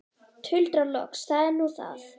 Tuldra loks: Það er nú það.